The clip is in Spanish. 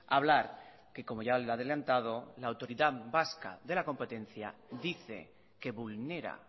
a hablar que como ya le he adelantado la autoridad vasca de la competencia dice que vulnera